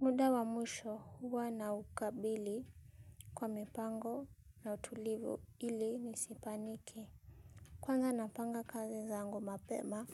Muda wa mwisho huwa na ukabili kwa mipango na utulivu ili nisipaniki. Kwanza napanga kazi za zangu mapema.